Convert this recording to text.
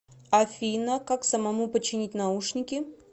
афина как самому починить наушники